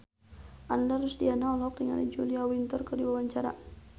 Ananda Rusdiana olohok ningali Julia Winter keur diwawancara